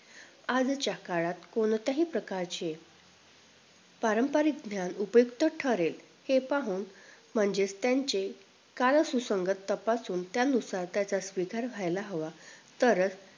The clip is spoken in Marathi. आजच्या काळात कोणत्याही प्रकारचे पारंपरिक ज्ञान उपयुक्त ठरेल. हे पाहून म्हणजेच त्यांचे कार्यसुसंगत तपासून त्यानुसार त्याचा स्वीकार व्हायला हवा तरच